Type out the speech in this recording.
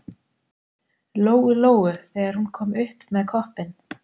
Lóu-Lóu þegar hún kom upp með koppinn.